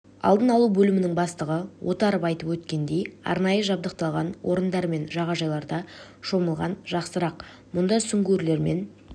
алдын алу бөлімінің бастығы отаров айтып өткендей арнайы жабдықталған орындар мен жағажайларда шомылған жақсырақ мұнда сүңгуірлермен